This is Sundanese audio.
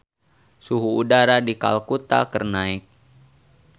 Suhu udara di Kalkuta keur naek